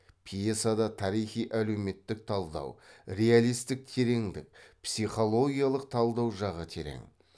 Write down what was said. пьесада тарихи әлеуметтік талдау реалистік тереңдік психологиялық талдау жағы терең